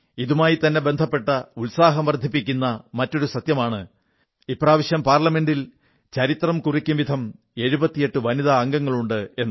ഇതുമായിത്തന്നെ ബന്ധപ്പെട്ട ഉത്സാഹം വർധിപ്പിക്കുന്ന മറ്റൊരു സത്യമാണ് ഇപ്രാവശ്യം പാർലമെന്റിൽ ചരിത്രം കുറിക്കുന്നവിധം 78 വനിതാ അംഗങ്ങളുണ്ട് എന്നത്